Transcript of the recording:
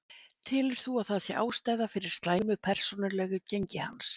Telur þú að það sé ástæða fyrir slæmu persónulegu gengi hans?